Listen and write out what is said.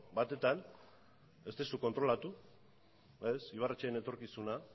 batetan ez duzu kontrolatu ez ibarretxeren etorkizuna